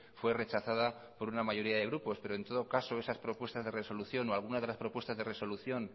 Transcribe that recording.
fue rechazada por una mayoría de grupos pero en todo caso esas propuestas de resolución o algunas de las propuestas de resolución